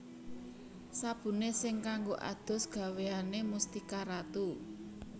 Sabune sing kanggo adus gaweane Mustika Ratu